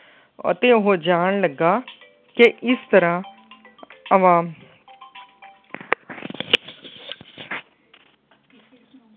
ਅਤੇ ਉਹ ਜਾਣ ਲੱਗਾ ਕਿ ਇਸ ਤਰ੍ਹਾਂ ਆਵਾਮ